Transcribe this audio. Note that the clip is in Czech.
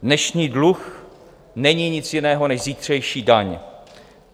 Dnešní dluh není nic jiného než zítřejší daň.